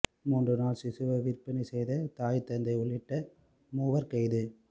மூன்றுநாள் சிசுவை விற்பனை செய்த தாய் தந்தை உள்ளிட்ட மூவர் கைது